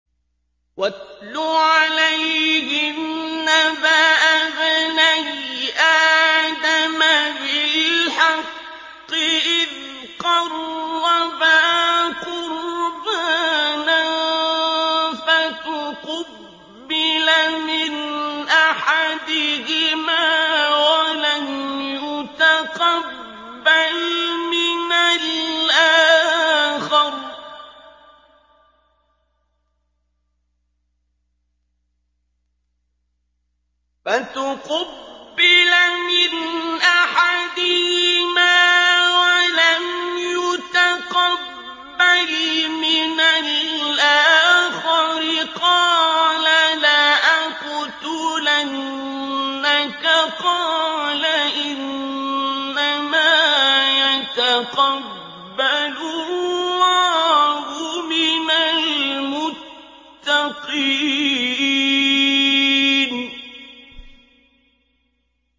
۞ وَاتْلُ عَلَيْهِمْ نَبَأَ ابْنَيْ آدَمَ بِالْحَقِّ إِذْ قَرَّبَا قُرْبَانًا فَتُقُبِّلَ مِنْ أَحَدِهِمَا وَلَمْ يُتَقَبَّلْ مِنَ الْآخَرِ قَالَ لَأَقْتُلَنَّكَ ۖ قَالَ إِنَّمَا يَتَقَبَّلُ اللَّهُ مِنَ الْمُتَّقِينَ